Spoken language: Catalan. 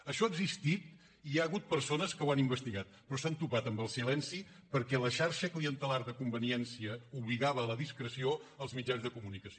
això ha existit i hi ha hagut persones que ho han investigat però s’han topat amb el silenci perquè la xarxa clientelar de conveniència obligava a la discreció als mitjans de comunicació